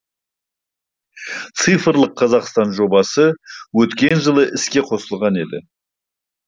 цифрлық қазақстан жобасы өткен жылы іске қосылған еді